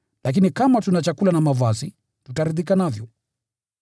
Lakini kama tuna chakula na mavazi, tutaridhika navyo.